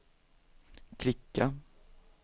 klicka